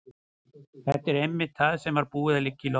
Þetta var einmitt það sem var búið að liggja í loftinu.